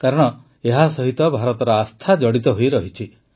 କାରଣ ଏହାସହିତ ଭାରତର ଆସ୍ଥା ଜଡ଼ିତ ହୋଇରହିଛି